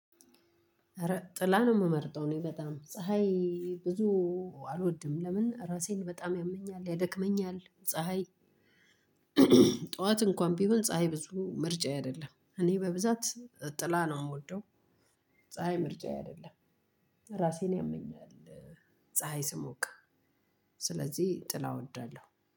ኧረ ጥላ ነው የምመርጠው እኔ በጣም ፀሀይ ብዙ አልወድም ለምን እራሴን በጣም ያመኛል ያደክመኛል ፀሀይ። ጠዋት እንኳን ቢሆን ፀሀይ ብዙ ምርጫዬ አይደለም እኔ በብዛት ጥላ ነው የምወደው። ፀሀይ ምርጫዬ አይደለም እራሴን ያመኛል። ፀሀይ ስሞቅ ስለዚህ ጥላ እወዳለሁ።